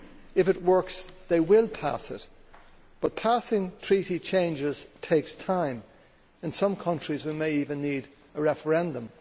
If it works, they will pass it, but passing Treaty changes takes time. In some countries we may even need a referendum.